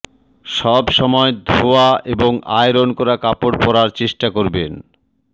সবসময় ধোয়া এবং আয়রন করা কাপড় পরার চেষ্টা করবেন